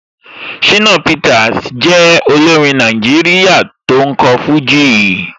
Shina Peter jẹ́ olórin Nàìjíríà tó ń kọ fújì.